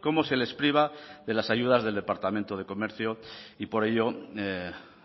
cómo se les priva de las ayudas del departamento de comercio y por ello